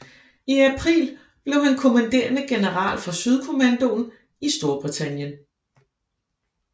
I april blev han kommanderende general for Sydkommandoen i Storbritannien